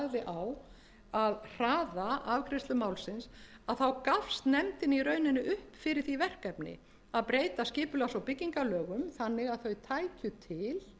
á að hraða afgreiðslu málsins þá gafst nefndin í rauninni upp fyrir því verkefni að breyta skipulags og byggingarlögum þannig að þau tækju til